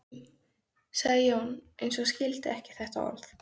sagði Jón, eins og hann skildi ekki þetta orð.